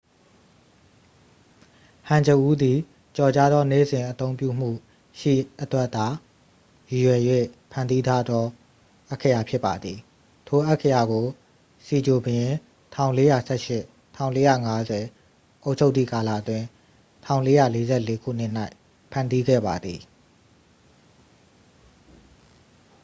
ဟန်ဂျအူး သည် ကျော်ကြားသော နေ့စဉ်အသုံးပြုမှုရှိအတွက်သာ ရည်ရွယ်၍ဖန်တီးထားသော အက္ခရာဖြစ်ပါသည်။ ထိုအက္ခရာကို စီဂျွန် ဘုရင် ၁၄၁၈ – ၁၄၅၀ အုပ်ချုပ်သည့်ကာလအတွင်း ၁၄၄၄ ခုနှစ်၌ ဖန်တီးခဲ့ပါသည်။